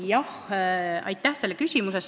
Jah, aitäh!